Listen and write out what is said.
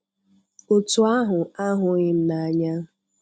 otú ahụ ahụghị m n'anya.